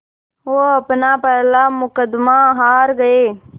वो अपना पहला मुक़दमा हार गए